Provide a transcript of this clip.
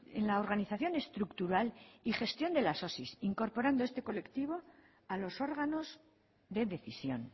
en la organización estructural y gestión de las osi incorporando este colectivo a los órganos de decisión